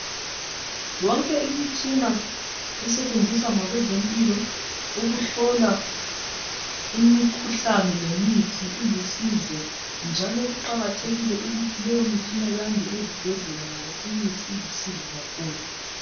Yonke imitshina esetshenziswa ngabezempilo ukuhlola imikhuhlane lemithi ilusizo njalo kuqakathekile ukuthi leyo mitshina yande ezibhedlela ngoba imithi ilusizo kakhulu.